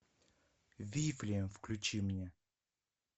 вифлеем включи мне